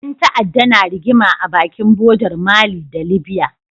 Ƴan ta'adda na rigima a bakin bodar mali da libya